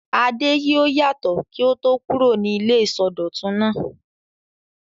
Adé yóò yàtọ̀ kí ó tó kúrò ní ilé ìsọdọ̀tun náà.